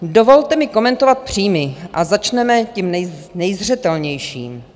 Dovolte mi komentovat příjmy, a začneme tím nejzřetelnějším.